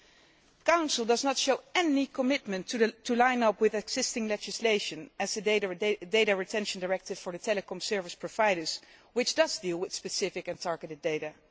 The Council does not show any commitment to line up with existing legislation such as the data retention directive for the telecom service providers, which does deal with specific and targeted data.